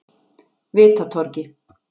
Vitatorgi